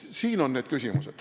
Need on need küsimused.